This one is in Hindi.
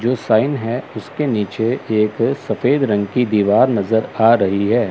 जो साइन है उसके नीचे एक सफेद रंग की दीवार नजर आ रही है।